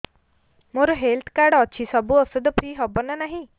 ମୋର health card ଅଛି ସବୁ ଔଷଧ ଫ୍ରି ହବ ନା ନାହିଁ